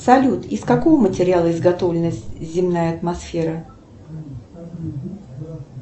салют из какого материала изготовлена земная атмосфера